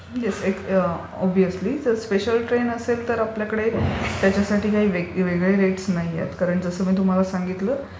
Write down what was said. Obviously. Special train असेल तर आपल्याकडे त्याच्यासाठी काही वेगळे रेट्स नाहीयेत. कारण जसं मी तुम्हाला सांगितलं